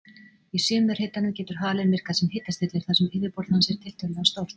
Í sumarhitunum getur halinn virkað sem hitastillir þar sem yfirborð hans er tiltölulega stórt.